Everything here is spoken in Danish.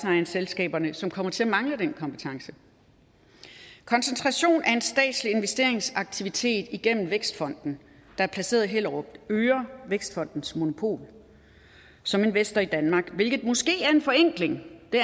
selskaberne som kommer til at mangle den kompetence koncentrationen af en statslig investeringsaktivitet igennem vækstfonden der er placeret i hellerup øger vækstfondens monopol som investor i danmark hvilket måske er en forenkling det